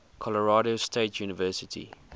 colorado state university